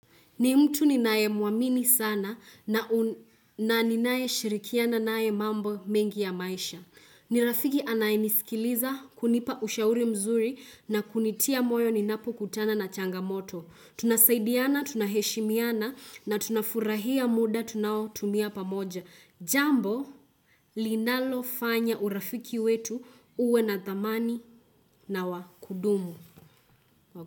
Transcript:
Ni mtu ninaye mwamini sana na ninaye shirikiana naye mambo mengi ya maisha. Ni rafiki anayenisikiliza kunipa ushauri mzuri na kunitia moyo ninapokutana na changamoto. Tunasaidiana, tunaheshimiana na tunafurahia muda tunaotumia pamoja. Jambo, linalofanya urafiki wetu uwe na dhamani na wakudumu.